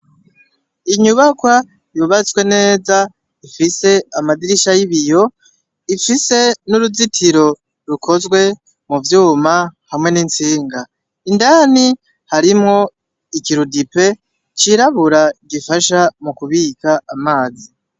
Inyubakwa yubatswe neza ifise amadirisha y'ibiyo, ifise n'uruzitiro rukozwe muvyuma hamwe nk'intsinga, indani hariyo ikirudipe cirabura gifasha mukubika amazi.